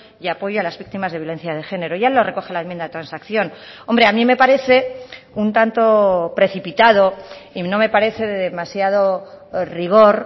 y apoyo a las víctimas de violencia de género ya lo recoge la enmienda de transacción hombre a mí me parece un tanto precipitado y no me parece de demasiado rigor